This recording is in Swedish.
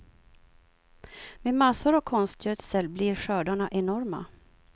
Med massor av konstgödsel blir skördarna enorma.